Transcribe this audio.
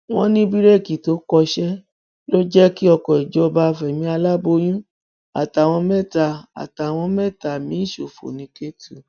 wọn ní bíréèkì tó kọsẹ ló jẹ kí ọkọ ìjọba fẹmí aláboyún àtàwọn mẹta àtàwọn mẹta míín ṣòfò ní kétù